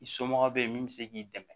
I somɔgɔ bɛ yen min bɛ se k'i dɛmɛ